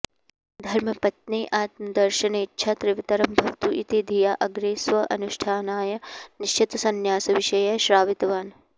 ध्रर्मपत्नेः आत्मदर्शनेच्छा तीव्रतरं भवतु इति धिया अग्रे स्व अनुष्ठानाय निश्चितसंन्यासविषये श्रावितवान्